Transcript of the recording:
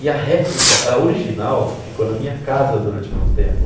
E a réplica, a original, ficou na minha casa durante muito tempo.